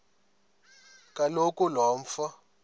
kaloku lo mfo